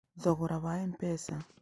Thogora wa M-pesa: